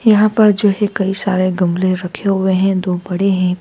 यहां पर जो है कई सारे गमले रखे हुए हैं दो बड़े हैं।